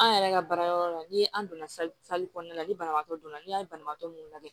An yɛrɛ ka baara yɔrɔ la ni an donna kɔnɔna na ni banabaatɔ donna n'i y'a ye banabaatɔ mun lajɛ